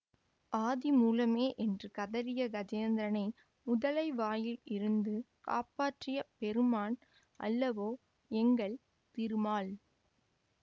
ஆதிமூலமே என்று கதறிய கஜேந்திரனை முதலை வாயிலிருந்து காப்பாற்றிய பெருமான் அல்லவோ எங்கள் திருமால்